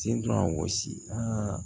Sen don a gosi a